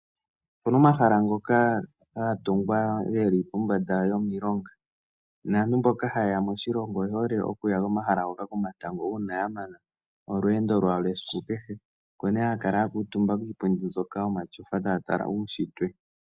Opuna omahala ngoka ga tungwa geli pombanda yomilonga, naantu mboka ha yeya moshilongo oye hole okuya komahala ngoka komatango uuna ya mana olweendo lwawo lwesiku kehe. Opo ne ha yakala ya kuutumba kiipundi mbyoka yomashofa taya tala uushitwe.